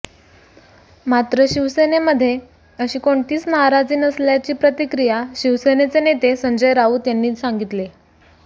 मात्र शिवसेनेमध्ये अशी कोणतीच नाराजी नसल्याची प्रतिक्रिया शिवसेनेचे नेते संजय राऊत यांनी सांगितले